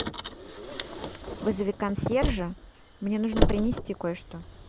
вызови консьержа мне нужно принести кое что